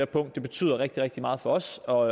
punkt der betyder rigtig rigtig meget for os og